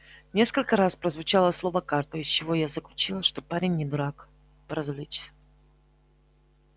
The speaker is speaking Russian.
несколько раз прозвучало слово карта из чего я заключила что парень не дурак поразвлечься